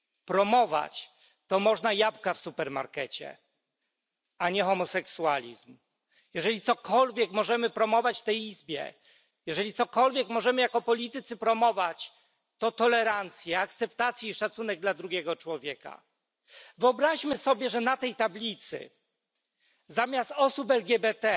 Promować to można jabłka w supermarkecie, a nie homoseksualizm. Jeżeli cokolwiek możemy promować w tej Izbie, jeżeli cokolwiek możemy jako politycy promować, to tolerancję, akceptację i szacunek dla drugiego człowieka. Wyobraźmy sobie, że na tej tablicy zamiast osoby LGBT